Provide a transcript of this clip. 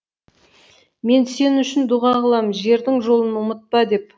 мен сен үшін дұға қылам жердің жолын ұмытпа деп